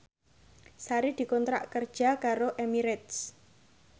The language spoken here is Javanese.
Sari dikontrak kerja karo Emirates